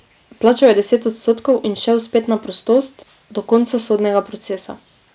Plačal je deset odstotkov in šel spet na prostost do konca sodnega procesa.